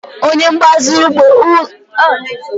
onye mgbaziri okporoụzọ ụgbọelu kwụ ọtọ na-agbaziri ụgbọelu na-abata abata.